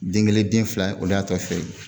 Den gelen den fila o y'a tɔ feere